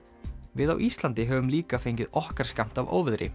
við á Íslandi höfum líka fengið okkar skammt af óveðri